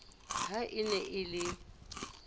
ha e ne e le